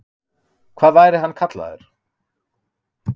hvað væri hann kallaður?